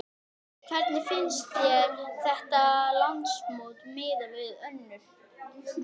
Jóhannes: Hvernig finnst þér þetta landsmót miðað við önnur?